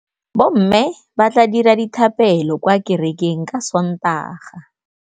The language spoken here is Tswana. Bommê ba tla dira dithapêlô kwa kerekeng ka Sontaga.